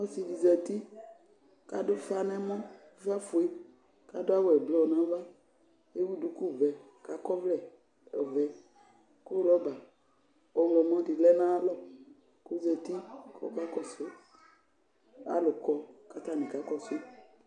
Ɔsi di zati kadu ufa nɛmɔ Ʊfa gue kadawu ɛblɔr nava, ewu duku vɛ kakɔvlɛ ɔvɛ Ku rɔba ɔwlɔmɔ dilɛ natal Kɔzati kɔkakɔsu, alʊ kɔ Katani Kakashi